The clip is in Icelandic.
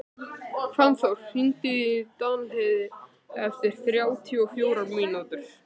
Fannþór, hringdu í Danheiði eftir þrjátíu og fjórar mínútur.